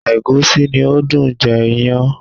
Ẹ̀gúsí ni ó dùn jẹ iyán.